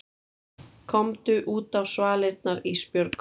Komdu útá svalirnar Ísbjörg.